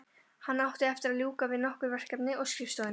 Hann átti eftir að ljúka við nokkur verkefni á skrifstofunni.